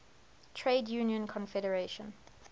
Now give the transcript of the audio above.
trade union confederation